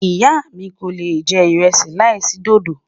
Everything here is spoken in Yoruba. ìyá mí kò lè jẹ iresi là isi dòdó